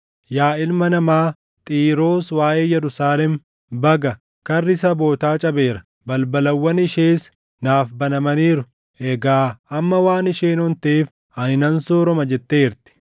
“Yaa ilma namaa, Xiiroos waaʼee Yerusaalem, ‘Baga! Karri sabootaa cabeera; balbalawwan ishees naaf banamaniiru; egaa amma waan isheen onteef ani nan sooroma’ jetteertii;